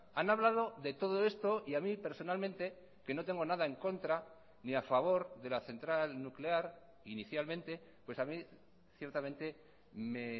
han hablado de todo esto y a mí personalmente que no tengo nada en contra ni a favor de la central nuclear inicialmente pues a mi ciertamente me